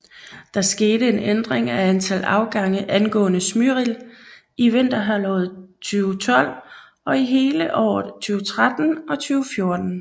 Der skete en ændring af antal afgange angående Smyril i vinterhalvåret 2012 og hele året 2013 og 2014